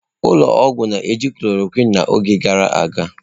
Ụlọ ọgwụ na-eji chlọrọquin n'oge gara aga.